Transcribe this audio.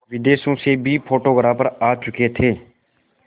विदेशों से भी फोटोग्राफर आ चुके थे